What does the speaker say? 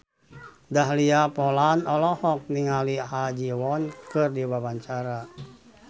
Dahlia Poland olohok ningali Ha Ji Won keur diwawancara